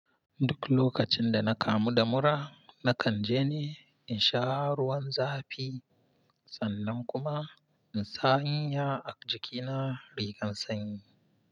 Duk lokacin da na kamu da mura, na kan je ne in sha ruwan zafi sannan kuma in sa in ya a jikina rigan sanyi.